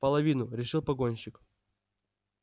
половину решил погонщик